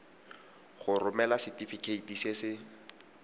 go romela setefikeiti se se